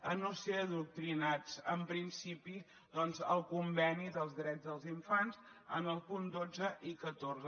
a no ser adoctrinats en principi doncs el conveni dels drets dels infants en els punts dotze i catorze